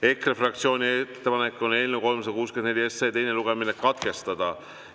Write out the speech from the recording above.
EKRE fraktsiooni ettepanek on eelnõu 364 teine lugemine katkestada.